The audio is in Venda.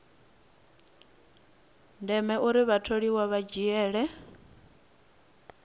ndeme uri vhatholiwa vha dzhiele